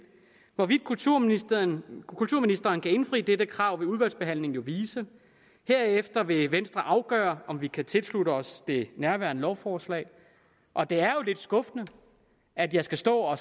hvorvidt kulturministeren kulturministeren kan indfri dette krav vil udvalgsbehandlingen jo vise og herefter vil venstre afgøre om vi kan tilslutte os det nærværende lovforslag og det er jo lidt skuffende at jeg skal stå